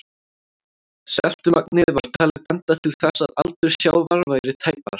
Seltumagnið var talið benda til þess að aldur sjávar væri tæpar